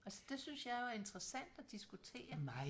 Altså det synes jeg jo er interessant at diskutere